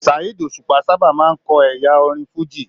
Saheed Osupa sábà máa n kọ ẹyà orin fújì.